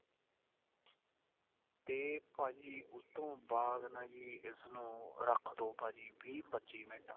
ਤੇ ਭਾਜੀ ਉਸ ਤੋਂ ਬਾਅਦ ਨਾ ਜੀ ਇਸ ਨੂੰ ਰੱਖ ਦੋ ਭਾਜੀ ਵੀਹ ਪੱਚੀ ਮਿੰਟ